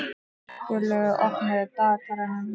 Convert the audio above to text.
Guðlaugur, opnaðu dagatalið mitt.